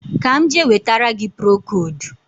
Ka m je wetara gị procodu